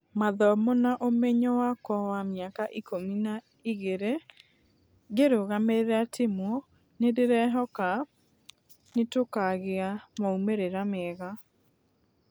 Mathomo na ũmenyo wakwa wa mĩaka ikũmi na igĩrĩ ngĩrũgamĩrĩra timũ , nĩndĩrehoka nũtũkagĩa maumerĩra mega.